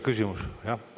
Küsimus?